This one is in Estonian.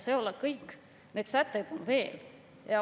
See ei ole kõik, neid sätteid on veel.